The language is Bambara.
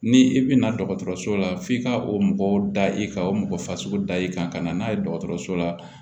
Ni i bina dɔgɔtɔrɔso la f'i ka o mɔgɔ da i kan o mɔgɔ fasugu da i kan ka na n'a ye dɔgɔtɔrɔso la